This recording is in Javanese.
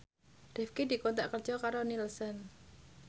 Rifqi dikontrak kerja karo Nielsen